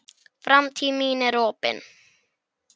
Framtíð mín er opin.